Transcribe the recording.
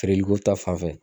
Feereli ko ta fanfɛ